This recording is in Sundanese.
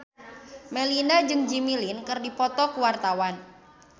Melinda jeung Jimmy Lin keur dipoto ku wartawan